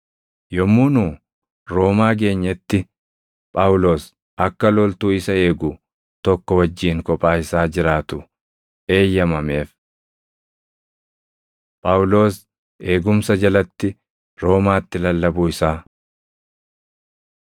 Yommuu nu Roomaa geenyetti Phaawulos akka loltuu isa eegu tokko wajjin kophaa isaa jiraatu eeyyamameef. Phaawulos Eegumsa Jalatti Roomaatti Lallabuu Isaa